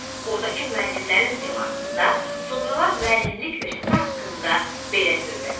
Ordakı müəllimlərin simasında sonralar müəllimlik peşəsi haqqında belə söyləmişdi.